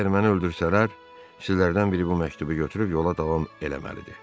Əgər məni öldürsələr, sizlərdən biri bu məktubu götürüb yola davam eləməlidir.